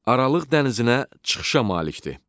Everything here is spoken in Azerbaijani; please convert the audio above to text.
Aralıq dənizinə çıxışa malikdir.